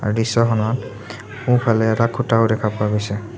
দৃশ্যখনত সোঁফালে এটা খুঁটাও দেখা পোৱা গৈছে।